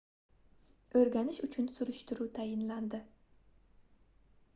oʻrganish uchun surishtiruv tayinlandi